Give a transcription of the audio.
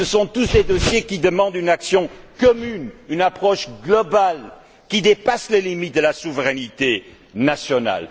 Tous ces dossiers réclament une action commune, une approche globale, qui dépasse les limites de la souveraineté nationale.